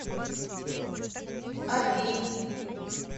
оби